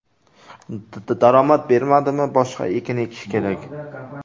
Daromad bermadimi, boshqa ekin ekish kerak.